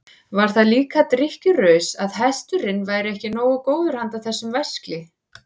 Var það líka drykkjuraus að hesturinn væri ekki nógu góður handa þessum væskli?